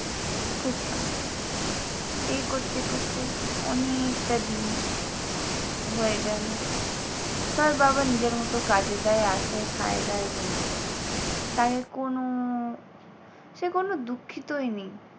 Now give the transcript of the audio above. এই করতে করতে অনেকটা দিন হয়ে গেল। তার বাবা নিজের মতো কাজে যায় আসে খায়-দায় ঘুমায়। তাকে কোনো ও সে কোনো দুঃখিতই নেই।